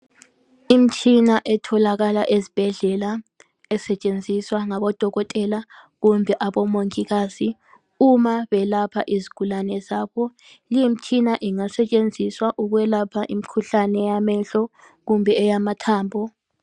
Imtshina etholakala ezibhedlela esetshenziswa ngabodokotela kumbe abomongikazi uma belapha izigulane zabo li imtshina engasetshenziswa ukwelapha imkhuhlane yamehlo kumbe eyamathambo